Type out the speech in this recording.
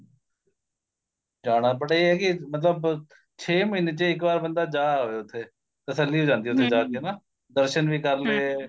ਜਾਣਾ but ਇਹ ਏ ਕੀ ਮਤਲਬ ਛੇ ਮਹੀਨੇ ਚ ਇੱਕ ਵਾਰ ਬੰਦਾ ਜਾ ਆਵੇ ਉੱਥੇ ਤਸੱਲੀ ਹੋ ਜਾਂਦੀ ਏ ਜਾ ਕੇ ਨਾ ਦਰਸ਼ਨ ਵੀ ਕਰ ਲਏ